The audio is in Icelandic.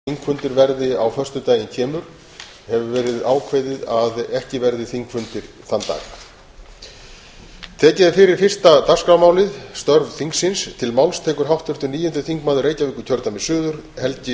þrátt fyrir að gert sé ráð fyrir því í starfsáætlun þingsins að þingfundur verði á föstudaginn kemur hefur verið ákveðið að ekki verði þingfundir þann dag